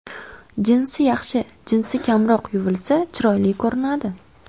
Jinsi Yaxshi jinsi kamroq yuvilsa, chiroyli ko‘rinadi.